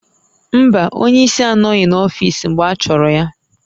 Mba, onye isi anọghị n'ọfiisi mgbe achọrọ ya